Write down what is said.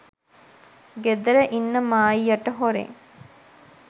ගෙදර ඉන්න මායියට හොරෙන්